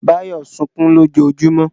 Báyọ̀ sunkún lójoojúmọ́.